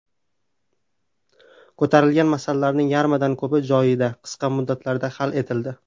Ko‘tarilgan masalalarning yarmidan ko‘pi joyida, qisqa muddatlarda hal etildi.